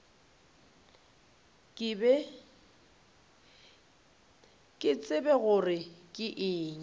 ke tsebe gore ke eng